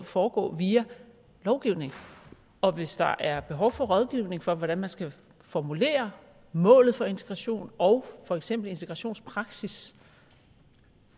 foregå via lovgivning og hvis der er behov for rådgivning for hvordan man skal formulere målet for integration og for eksempel integrationspraksis